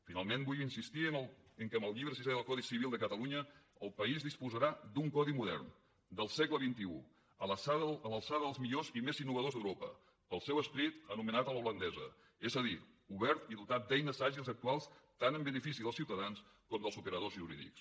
finalment vull insistir en el fet que amb el llibre sisè del codi civil de catalunya el país disposarà d’un codi modern del segle xxi a l’alçada dels millors i més innovadors d’europa pel seu esperit anomenat a l’holandesa és a dir obert i dotat d’eines àgils i actuals tant en benefici dels ciutadans com dels operadors jurídics